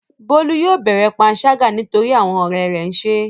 Bólú yóò bẹ̀rẹ̀ panṣágà nítorí àwọn ọ̀rẹ́ rẹ̀ ń ṣe é.